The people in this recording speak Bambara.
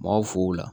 Mɔgɔw fo o la